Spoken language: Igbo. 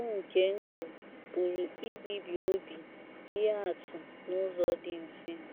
“ NCHEGBU NKE NDỤ ” PỤRỤ IBIBI OBI IHE ATỤ N’ỤZỌ DỊ MFE